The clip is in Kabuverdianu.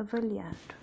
avaliadu